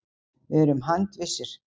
Við erum handvissir.